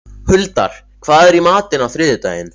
Huldar, hvað er í matinn á þriðjudaginn?